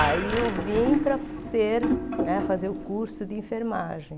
Aí eu vim para ser né fazer o curso de enfermagem.